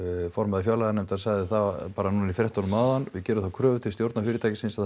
formaður fjárlaganefndar sagði það bara í fréttunum hérna áðan við gerum þær kröfur til stjórnenda fyrirtæksins að